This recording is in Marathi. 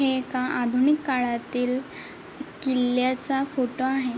हे एका आधुनिक काळातील किल्ल्याच फोटो आहे.